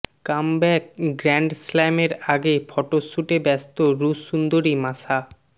comeback গ্র্যান্ডস্ল্যামের আগে photo শ্যুটে ব্যস্ত রুশ সুন্দরী মাশা